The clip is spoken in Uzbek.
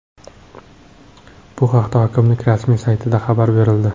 Bu haqda hokimlik rasmiy saytida xabar berildi .